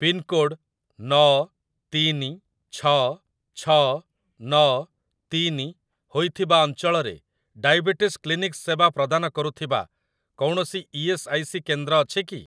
Pincode ନଅ ତିନି ଛଅ ଛଅ ନଅ ତିନି ହୋଇଥିବା ଅଞ୍ଚଳରେ ଡାଇବେଟିସ୍ କ୍ଲିନିକ୍ ସେବା ପ୍ରଦାନ କରୁଥିବା କୌଣସି ଇ.ଏସ୍. ଆଇ. ସି. କେନ୍ଦ୍ର ଅଛି କି?